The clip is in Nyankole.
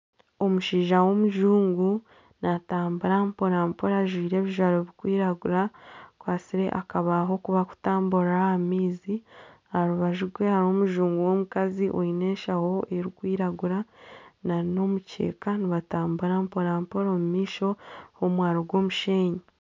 Omushaija w'omuzungu natambura mpora mpora ajwire ebizwaro bikwiragura akwatsire akabaaho aku bakutamburiraho ah'amaizi aha rubaju rwe hariho omuzungu w'omukazi oine enshaho erikwiragura nana omukyeka nibatambura mpora mpora omu maisho hariho omwaro gw'omushenyi.